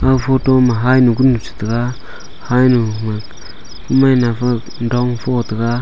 aga photo ma hainu chitaiga hainu ma mai nafa dong fong taga.